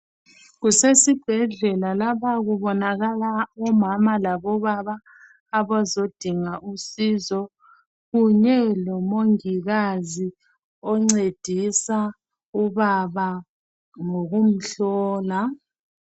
Kusesibhedlela lapha kubonakala omama labobaba abazodinga usizo kunye lomongikazi oncedisa ubaba ngokumhlola.